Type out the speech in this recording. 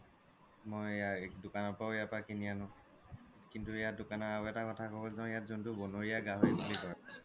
মই দুকানৰ ইয়াৰ পৰাও কিনি আনো কিন্তু আৰু এটা ক্থা হ্'ল ইয়াত যোনতো ব্নৰীয়া গাহৰি বুলি কই